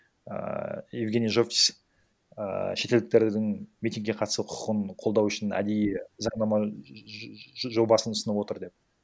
ііі евгений жовтис ііі шетелдіктердің митингке қатысу құқын қолдау үшін әдейі заңнама жобасын ұсынып отыр деп